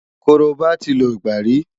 Korobá ti lògbà rí.